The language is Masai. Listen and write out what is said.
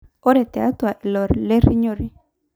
Ore tiatu ilolerinyore.